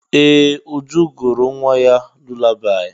Ee! Uju gụụrụ nwa gị lulabaị.